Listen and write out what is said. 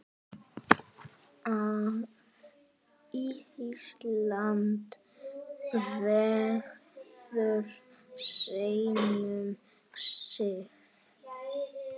að Ísland bregður sínum sið